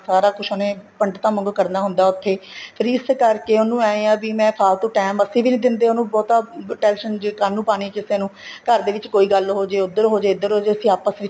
ਸਾਰਾ ਕੁੱਛ ਉਹਨੇ ਪੰਡਤਾਂ ਵਾਂਗੂ ਕਰਨਾ ਹੁੰਦਾ ਹੈ ਉੱਥੇ ਫ਼ਿਰ ਇਸ ਕਰਕੇ ਉਹਨੂੰ ਏ ਹਾਂ ਵੀ ਮੈਂ ਫ਼ਾਲਤੂ time ਅਸੀਂ ਵੀ ਨਹੀਂ ਦਿੰਦੇ ਉਹਨਾ ਬਹੁਤਾ tension ਜ਼ੇ ਕਾਹਨੂੰ ਪਾਣੀ ਕਿਸੇ ਨੂੰ ਘਰ ਦੇ ਵਿੱਚ ਕੋਈ ਗੱਲ ਹੋਜੇ ਉੱਧਰ ਹੋਜੇ ਇੱਧਰ ਹੋਜੇ ਅਸੀਂ ਆਪਸ ਵਿੱਚ